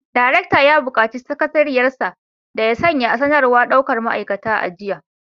Daraktan ya bukaci sakatariyar sa da ya sanya sanarwar daukar ma’aikata a jiya